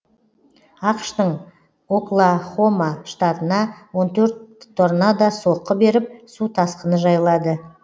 ақш тың оклахома штатына он төрт торнадо соққы беріп су тасқыны жайлады